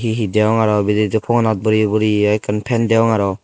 he degong aro bidire phogonat boreyi boreyi ekkan fan degong aro.